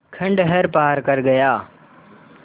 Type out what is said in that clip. खंडहर पार कर गया